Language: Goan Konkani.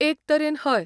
एक तरेन हय.